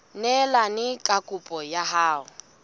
neelane ka kopo ya hao